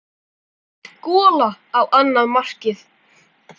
Létt gola á annað markið.